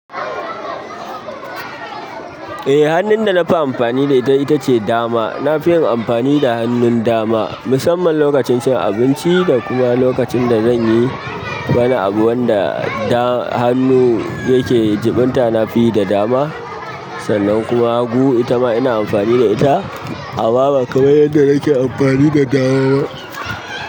Eh, hannun da na fi amfani da ita ita ce dama. Na fi yin amfani da hannun dama musamman lokacin cin abinci da kuma lokacin da zan yi wani abu wanda hannu yake jiɓinta na fi yi da dama. Sannan kuma hagu ita ma ina amfani da ita amma ba kamar yadda nake amfani da dama.